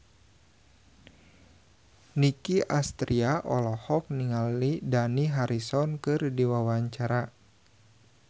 Nicky Astria olohok ningali Dani Harrison keur diwawancara